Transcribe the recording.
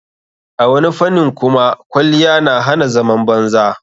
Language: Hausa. A wani fanin kuma kwaliyya na hana zaman banza.